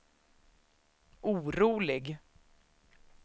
orolig